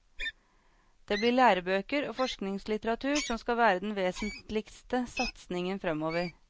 Det blir lærebøker og forskningslitteratur som skal være den vesentligste satsingen fremover.